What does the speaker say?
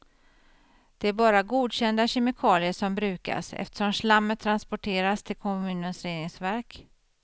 Det är bara godkända kemikalier som brukas, eftersom slammet transporteras till kommunens reningsverk.